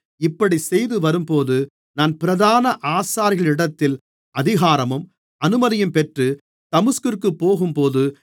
இப்படிச் செய்துவரும்போது நான் பிரதான ஆசாரியர்களிடத்தில் அதிகாரமும் அனுமதியும் பெற்று தமஸ்குவிற்குப் போகும்போது